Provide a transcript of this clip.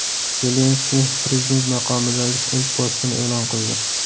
Zelenskiy prezident maqomidagi ilk postini e’lon qildi.